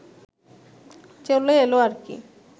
চলে এলো আর কি